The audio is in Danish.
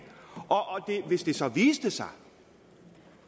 og hvis det så viste sig